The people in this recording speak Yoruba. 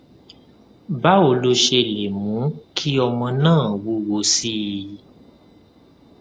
báwo lo ṣe lè mú kí ọmọ náà wúwo sí i